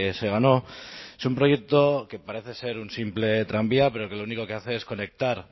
se ganó es un proyecto que parece ser un simple tranvía pero que lo único que hace es conectar